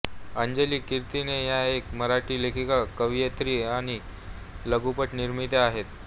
अंजली कीर्तने या एक मराठी लेखिका कवयित्री आणि लघुपट निर्मात्या आहेत